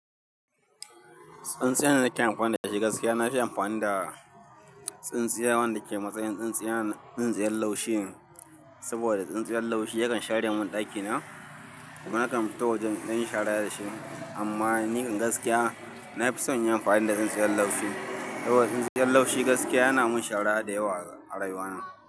Tsintsiyar da nake amfani da shi gaskiya na fi amfani da, tsintsiya wanda ke matsayin tsintsiyan, tsintsiyan laushi ne. Saboda tsintsiyar laushi yakan share mun ɗakina, domin na kan fito wajen in ɗanyi shara da shi. Amma ni kan gaskiya, na fi son inyi amfani da tsintsiyar laushi. Saboda tsintsiyar laushi gaskiya yana mun shara da yawa a rayuwa na.